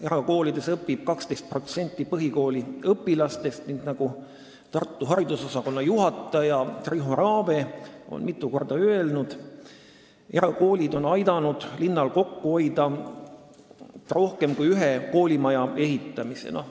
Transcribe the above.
Erakoolides õpib seal 12% põhikooliõpilastest, ning nagu Tartu haridusosakonna juhataja Riho Raave on mitu korda öelnud, erakoolid on aidanud linnal kokku hoida rohkem kui ühe koolimaja ehitamise raha.